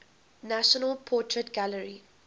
national portrait gallery